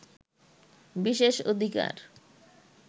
বিশেষ অধিকার